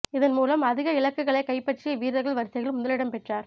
இதன்மூலம் அதிக இலக்குகளைக் கைப்பற்றிய வீரகள் வரிசையில் முதல் இடம் பெற்றார்